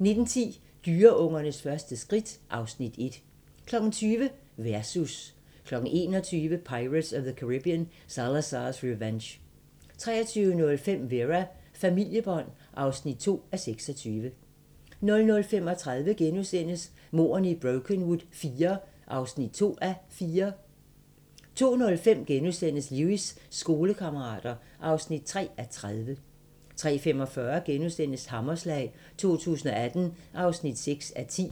19:10: Dyreungernes første skridt (Afs. 1) 20:00: Versus 21:00: Pirates of the Caribbean: Salazar's Revenge 23:05: Vera: Familiebånd (2:26) 00:35: Mordene i Brokenwood IV (2:4)* 02:05: Lewis: Skolekammerater (3:30)* 03:45: Hammerslag 2018 (6:10)*